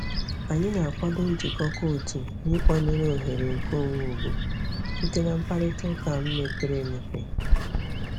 Anyị na-akwado njikọkọ otu na ịkwanyere oghere nkeonwe ugwu site na mkparịta ụka mepere emepe.